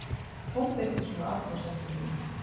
Þoldi ekki svona athugasemdir núna.